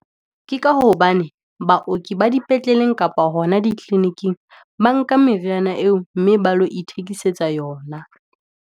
Ke ka hobane baoki ba dipetleleng kapa hona di clinic-ing, ba nka meriana eo, mme ba lo ithekisetsa yona.